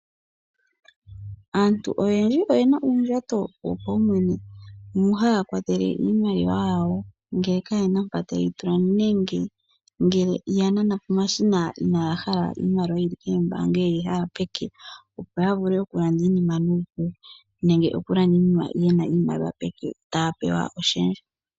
Aantu oyendji oyena uundjato wo paumwene mono haya kwatele iimaliwa yawo ngele ka yena mpoka ta yeyi tula nenge ngele ya nana pomashina inaya hala iimaliwa yili koombaanga ye yina pomake opo ya vule okulanda iinima nuupu, nenge okulanda iinima yena iimaliwa peke taya pewa oshendja.